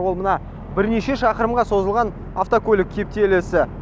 ол мына бірнеше шақырымға созылған автокөлік кептелесі